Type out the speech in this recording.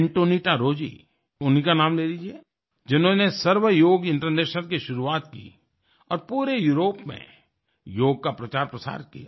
Antonietta Rozzi उन्हीं का नाम ले लीजिए जिन्होंने सर्व योग इंटरनेशनल की शुरुआत की और पूरे यूरोप में योग का प्रचारप्रसार किया